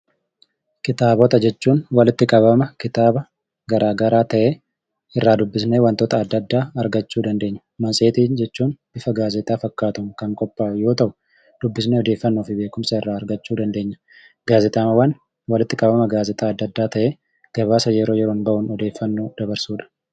Kitaabota jechuun walitti qabama kitaaba garaa garaa ta'ee, irraa dubbisnee wantoota adda addaa argachuu dandeenya. Maseetii jechuun bifa gaazexaa fakkaatuun kan qophaa'u yoo ta'u, dubbisnee odeeffannoo fi beekumsa irraa argachuu dandeenya. Gaazexaawwan walitti qabama gaazexaa adda addaa ta'ee, gabaasa yeroo yeroo bahuun odeeffannoo dabarsudha.